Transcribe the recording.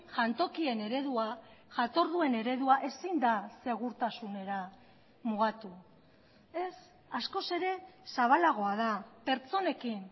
jantokien eredua jatorduen eredua ezin da segurtasunera mugatu ez askoz ere zabalagoa da pertsonekin